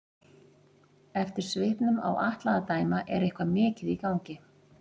Eftir svipnum á Atla að dæma er eitthvað mikið í gangi.